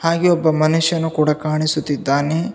ಹಾಗೆ ಒಬ್ಬ ಮನುಷ್ಯನು ಕೂಡ ಕಾಣಿಸುತ್ತಿದ್ದಾನೆ.